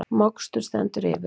Mokstur stendur yfir